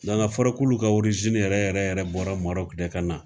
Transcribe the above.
Nka k'a fɔra k'olu ka orizini yɛrɛ yɛrɛ yɛrɛ bɔra Marɔku de ka na.